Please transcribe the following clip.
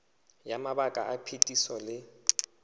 ya mabaka a phetiso le